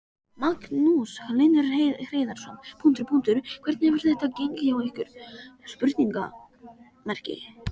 Magnús Hlynur Hreiðarsson: Hvernig hefur þetta gengið hjá ykkur?